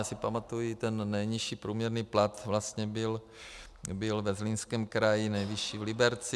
Já si pamatuji, ten nejnižší průměrný plat vlastně byl ve Zlínském kraji, nejvyšší v Liberci.